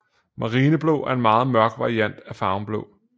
Marineblå er en meget mørk variant af farven blå